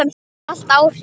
Það hefur allt áhrif.